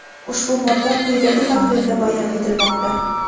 ushbu modda qo‘yidagi tahrirda bayon etilmoqda:.